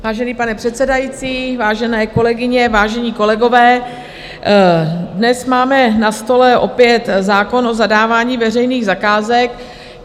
Vážený pane předsedající, vážené kolegyně, vážení kolegové, dnes máme na stole opět zákon o zadávání veřejných zakázek.